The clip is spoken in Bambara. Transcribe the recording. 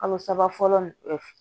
Kalo saba fɔlɔ